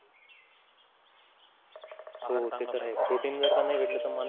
हो हो ते तर आहे protein जर नाही भेटली तर.